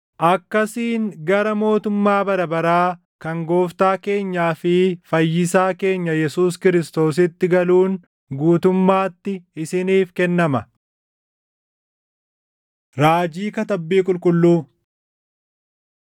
akkasiin gara mootummaa bara baraa kan Gooftaa keenyaa fi Fayyisaa keenya Yesuus Kiristoositti galuun guutummaatti isiniif kennama. Raajii Katabbii Qulqulluu